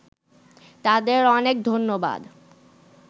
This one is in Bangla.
তাদের অনেক ধন্যবাদ